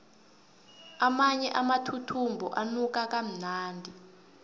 amanye amathuthumbo anuka kamnandi